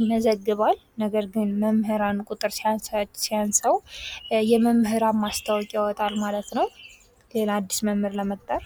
ይመዘግባል። ነገር ግን መምህራን ቁጥር ሲያንሰዉ የመምህራን ማስታወቂያ ያወጣል ማለት ነዉ። ሌላ አዲስ መምህር ለመቅጠር።